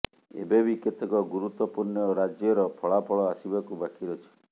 ଏବେବି କେତେକ ଗୁରୁତ୍ବପୂର୍ଣ୍ଣ ରାଜ୍ୟର ଫଳାଫଳ ଆସିବାକୁ ବାକି ଅଛି